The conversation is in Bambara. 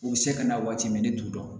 U bɛ se ka na waati min ne t'u dɔn